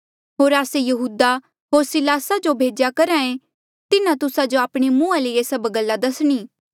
होर आस्से यहूदा होर सिलासा जो भेज्या करहा ऐें तिन्हा तुस्सा जो आपणे मुंहा ले ये सभ गल्ला दसणी